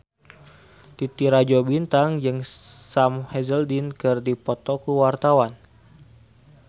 Titi Rajo Bintang jeung Sam Hazeldine keur dipoto ku wartawan